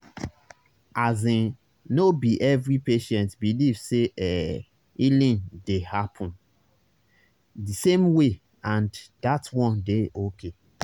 asin no be every patient believe say ehh healing dey happen di same way and that one dey okay